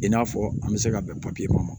I n'a fɔ an bɛ se ka bɛn kɔnɔ